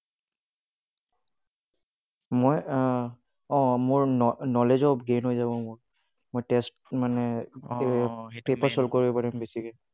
মই আহ অঁ, মোৰ knowledge ও gain হৈ যাব মোৰ কৰিব পাৰিম বেছিকৈ।